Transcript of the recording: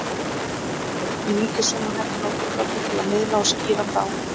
Börn hafa ekki sömu hæfni og fullorðnir til að miðla og skýra frá.